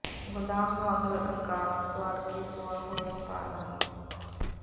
ਗੋਦਾਮ ਨੂੰ ਅੱਗ ਲੱਗਣ ਕਾਰਨ ਸੜ ਕੇ ਸੁਆਹ ਹੋਇਆ ਬਾਰਦਾਨਾ